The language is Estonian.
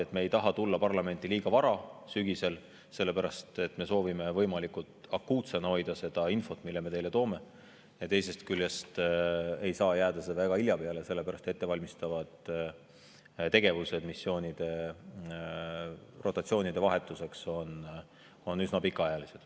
Me ei taha tulla parlamenti sügisel liiga vara, sest me soovime võimalikult akuutsena hoida seda infot, mille me teie ette toome, ja teisest küljest ei saa see jääda väga hilja peale, sest rotatsioone ettevalmistavad tegevused on üsna pikaajalised.